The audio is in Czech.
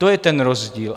To je ten rozdíl.